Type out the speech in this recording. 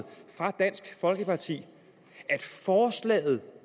dansk folkeparti at forslaget